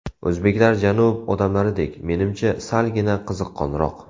O‘zbeklar janub odamlaridek, menimcha, salgina qiziqqonroq.